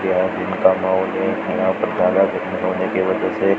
यहां दिन का माहौल है यहां पर से--